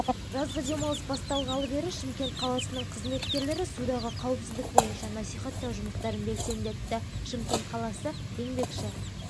жазғы демалыс басталғалы бері шымкент қаласының қызметкерлері судағы қауіпсіздік бойынша насихаттау жұмыстарын белсендетті шымкент қаласы еңбекші